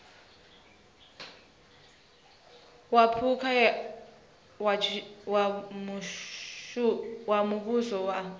wa phukha wa muvhuso wa